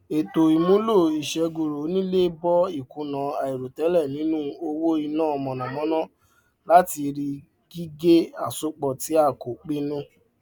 ètò ìmúlò ìṣègùrọ onílẹ bò ìkùnà àìròtẹlẹ nínú owó ina mọnamọna látàrí gígé asopọ tí a kò pinnu